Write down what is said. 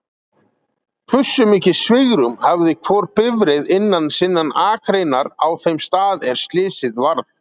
Hversu mikið svigrúm hafði hvor bifreið innan sinnan akreinar á þeim stað er slysið varð?